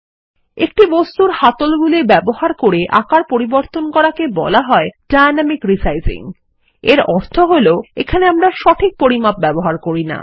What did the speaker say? একটি বস্তুর হ্যান্ডলগুলি ব্যবহার করে আকার পরিবর্তন করাকে বলা হয় ডাইনামিক রেসাইজিং এর অর্থ হল এখানে আমরা সঠিক পরিমাপ ব্যবহার করি না